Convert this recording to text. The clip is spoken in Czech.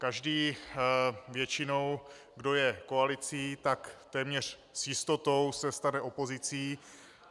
Každý většinou, kdo je koalicí, tak téměř s jistotou se stane opozicí.